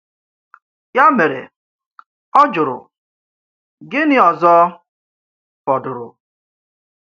Ya mere, ọ jụrụ: “Gịnị ọzọ fọdụrụ?